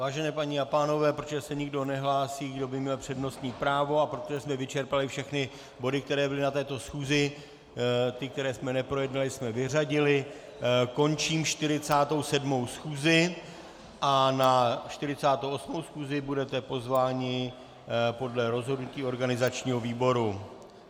Vážené paní a pánové, protože se nikdo nehlásí, kdo by měl přednostní právo, a protože jsme vyčerpali všechny body, které byly na této schůzi, ty, které jsme neprojednali, jsme vyřadili, končím 47. schůzi a na 48. schůzi budete pozváni podle rozhodnutí organizačního výboru.